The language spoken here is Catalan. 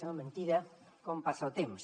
sembla mentida com passa el temps